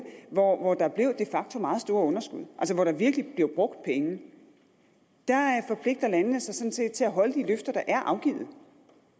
hvor hvor der blev de facto meget store underskud altså hvor der virkelig blev brugt penge forpligter landene sig sådan set til at holde de løfter der er afgivet